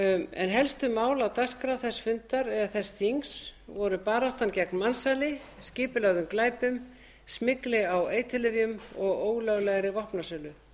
helstu mál á dagskrá þess fundar eða þess þings voru baráttan gegn mansali skipulögðum glæpum smygli á eiturlyfjum og ólöglegri vopnasölu